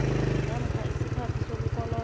namkha isikhathi sokukoloda